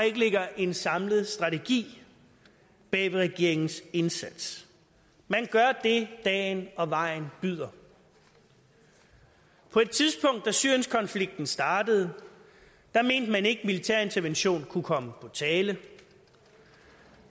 ikke ligger en samlet strategi bag ved regeringens indsats man gør det dagen og vejen byder på et tidspunkt da syrienskonflikten startede mente man ikke at militær intervention kunne komme på tale